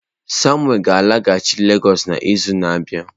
Samuel ga-alaghachi Lagos n'izu na-abịa.